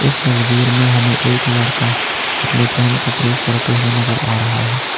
इस तस्वीर में हमें एक लड़का अपनी पैंट को प्रेस करते हुए नजर आ रहा है।